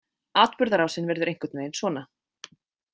Atburðarásin verður einhvern veginn svona